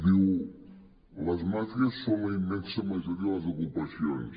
diu les màfies són la immensa majoria de les ocupacions